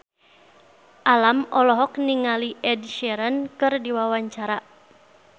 Alam olohok ningali Ed Sheeran keur diwawancara